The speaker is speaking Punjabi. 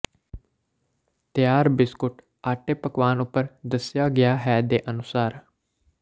ਤਿਆਰ ਬਿਸਕੁਟ ਆਟੇ ਪਕਵਾਨ ਉਪਰ ਦੱਸਿਆ ਗਿਆ ਹੈ ਦੇ ਅਨੁਸਾਰ